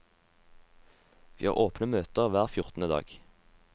Vi har åpne møter hver fjortende dag.